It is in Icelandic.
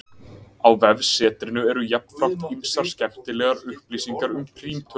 Á vefsetrinu eru jafnframt ýmsar skemmtilegar upplýsingar um prímtölur.